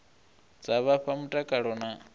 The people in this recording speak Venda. dza vha fha mutakalo na